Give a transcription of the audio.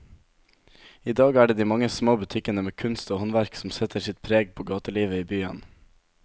I dag er det de mange små butikkene med kunst og håndverk som setter sitt preg på gatelivet i byen.